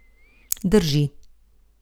Drži.